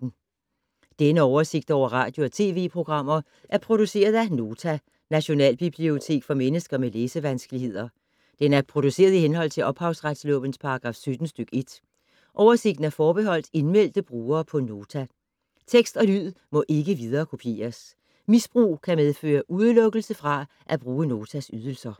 Denne oversigt over radio og TV-programmer er produceret af Nota, Nationalbibliotek for mennesker med læsevanskeligheder. Den er produceret i henhold til ophavsretslovens paragraf 17 stk. 1. Oversigten er forbeholdt indmeldte brugere på Nota. Tekst og lyd må ikke viderekopieres. Misbrug kan medføre udelukkelse fra at bruge Notas ydelser.